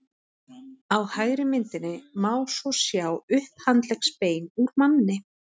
á hægri myndinni má svo sjá upphandleggsbein úr manni